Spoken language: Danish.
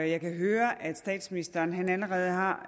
jeg kan høre at statsministeren allerede har